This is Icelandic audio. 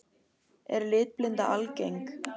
Er litblinda algeng?